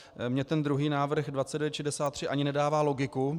Mně ten druhý návrh 2963 ani nedává logiku.